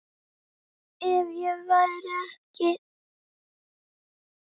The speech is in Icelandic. Ef ég væri ekki